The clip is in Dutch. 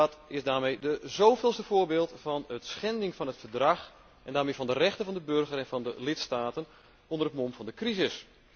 Dat is het zoveelste voorbeeld van schending van het Verdrag, en daarmee van de rechten van de burger en van de lidstaten, onder het mom van de crisis.